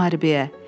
Müharibəyə.